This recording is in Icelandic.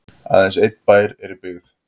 aðeins einn bær er í byggð